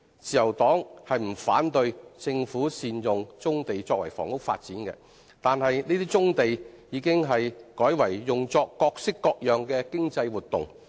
自由黨不反對政府善用棕地作房屋發展，但有些棕地已改為用作各式各樣的經濟活動。